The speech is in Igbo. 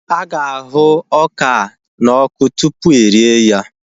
Aga ahu ọka na ọkụ tupu erie ya